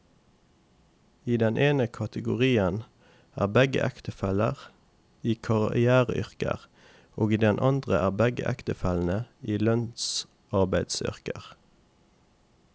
I den ene kategorien er begge ektefellene i karriereyrker, og i den andre er begge ektefellene i lønnsarbeideryrker.